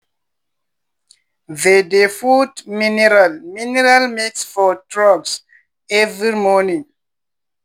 they dey put mineral mineral mix for troughs every morning.